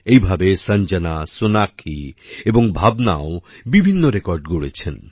একইভাবে সঞ্জনা সোনাক্ষী এবং ভাবনাও বিভিন্ন রেকর্ড গড়েছেন